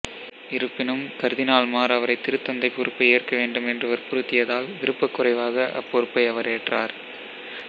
இருப்பினும் கர்தினால்மார் அவரைத் திருத்தந்தைப் பொறுப்பை ஏற்கவேண்டும் என்று வற்புறுத்தியதால் விருப்பக் குறைவாக அப்பொறுப்பை அவர் ஏற்றார்